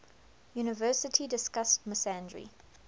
university discussed misandry